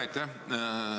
Aitäh!